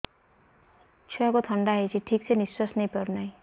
ଛୁଆକୁ ଥଣ୍ଡା ହେଇଛି ଠିକ ସେ ନିଶ୍ୱାସ ନେଇ ପାରୁ ନାହିଁ